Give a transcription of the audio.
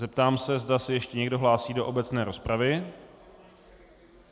Zeptám se, zda se ještě někdo hlásí do obecné rozpravy.